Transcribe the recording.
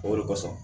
O de kosɔn